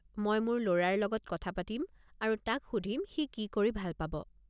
মই মোৰ ল'ৰাৰ লগত কথা পাতিম আৰু তাক সুধিম সি কি কৰি ভাল পাব।